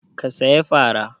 Ka saya fara?